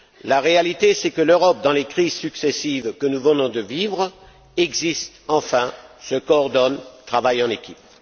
La réalité c'est que l'Europe, dans les crises successives que nous venons de vivre, existe enfin, se coordonne, travaille en équipe.